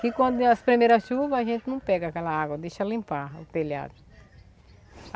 Que quando der as primeiras chuvas, a gente não pega aquela água, deixa limpar o telhado.